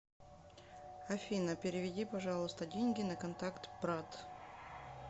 афина переведи пожалуйста деньги на контакт брат